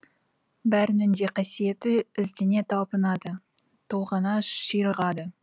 бәрінің де қасиеті іздене талпынады толғана ширығады